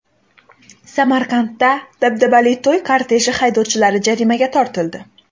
Samarqandda dabdabali to‘y korteji haydovchilari jarimaga tortildi .